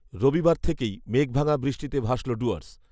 রবিবার থেকেই মেঘভাঙা বৃষ্টিতে ভাসল ডুয়ার্স